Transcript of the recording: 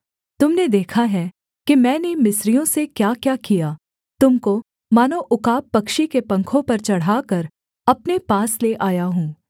तुम ने देखा है कि मैंने मिस्रियों से क्याक्या किया तुम को मानो उकाब पक्षी के पंखों पर चढ़ाकर अपने पास ले आया हूँ